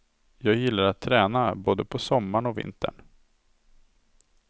Jag gillar att träna både på sommaren och vintern.